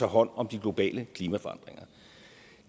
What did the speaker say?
hånd om de globale klimaforandringer